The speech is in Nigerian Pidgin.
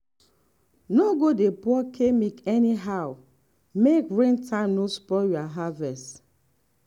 no go dey pour chemic anyhow make rain time no spoil your harvest.